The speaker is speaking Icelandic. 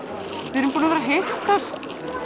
við erum búin að vera að hittast